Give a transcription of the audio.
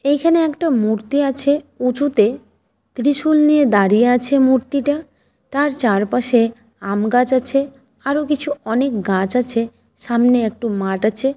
এখানে একটা মূর্তি আছে উঁচুতে। ত্রিশূল নিয়ে দাঁড়িয়ে আছে মূর্তিটা। তার চারপাশে আমগাছ আছে। আরো কিছু অনেক গাছ আছে। সামনে একটু মাঠ আছে।